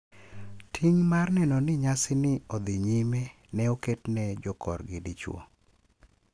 Ting` mar neno ni nyasi ni odhi nyime ne oketne jokorgi dichwo.